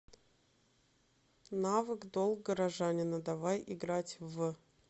навык долг горожанина давай играть в